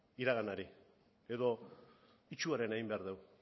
iraganari edo itsuarena egin behar dugu